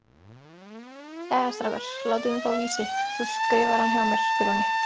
Jæja strákar, látiði mig fá Vísi, þú skrifar hann hjá mér Grjóni.